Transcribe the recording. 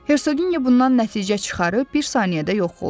Herqinya bundan nəticə çıxarıb bir saniyədə yox oldu.